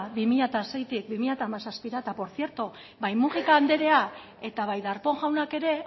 bi mila seitik bi mila hamazazpira eta por tzierto bai múgica andrea eta bai darpón jaunak ere